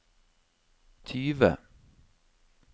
tyve